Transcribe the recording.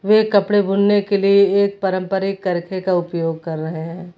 वे कपड़े बुनने के लिए एक परंपरिक कर्चे का उपयोग कर रहे हैं।